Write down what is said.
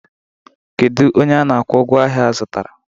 Kedu onye a na-akwụ ụgwọ ahịa azụtara?